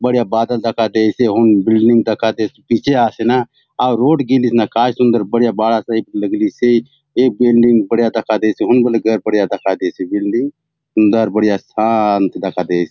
बढ़िया बादल दखा देयसे हुन बिल्डिंग दखा देयसे पिछे आसे न आउर रोड गेलिसे न काय सुंदर बढ़िया बाड़ा टाइप लगलीसे ए बिल्डिंग बढ़िया दखा देयसे हुन बले घर बढ़िया दखा देयसे बिल्डिंग हुन घर बढ़िया शांत दखा दयेसे ।